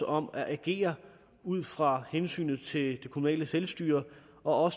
om at agere ud fra hensynet til det kommunale selvstyre og